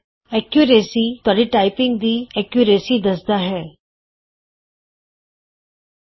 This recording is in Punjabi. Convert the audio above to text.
ਐਕੁਰੇਸੀ ਤੁਹਾਡੀ ਟਾਈਪਿੰਗ ਦੀ ਐਕੁਰੇਸੀ ਸ਼ੁਧਤਾ ਐਕੂਰੇਸੀ ਦੱਸਦਾ ਹੈ